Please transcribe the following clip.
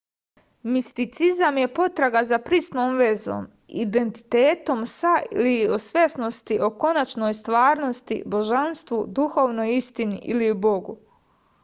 misticizam je potraga za prisnom vezom identitetom sa ili svesnosti o konačnoj stvarnosti božanstvu duhovnoj istini ili bogu